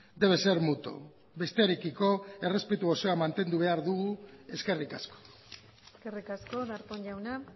debe ser mutuo bestearekiko errespetu osoa mantendu behar dugu eskerrik asko eskerrik asko darpón jauna